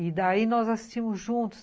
E daí nós assistimos juntos.